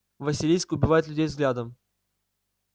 василиск убивает людей взглядом